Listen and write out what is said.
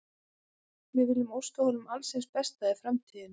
Við viljum óska honum alls hins besta í framtíðinni.